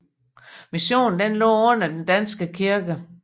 Missionen lå under den Danske Kirke